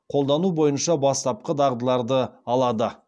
қолдану бойынша бастапқы дағдыларды алады